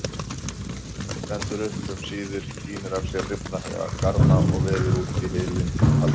Stendur upp um síðir, tínir af sér rifna garma og veður út í hylinn kaldan.